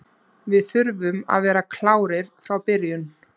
Við þurfum að vera klárir frá byrjun.